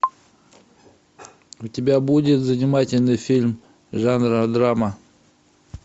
у тебя будет занимательный фильм жанра драма